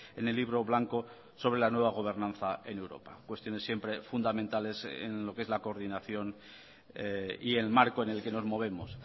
en el libro blanco sobre la nueva gobernanza en europa cuestiones siempre fundamentales en lo que es la coordinación y el marco en el que nos movemos